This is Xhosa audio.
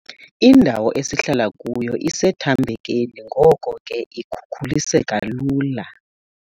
Indawo esihlala kuyo isethambekeni ngoko ke ikhukuliseka lula.